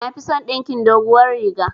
Nafison dinkin doguwar riga